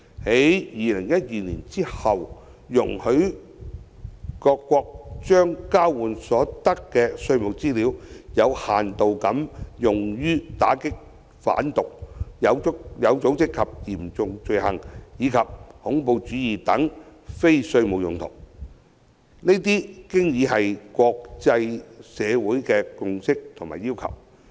在2012年後，容許各國將交換所得的稅務資料有限度地用於打擊販毒、有組織和嚴重罪行以及恐怖主義等非稅務用途，這已是國際社會的共識及要求。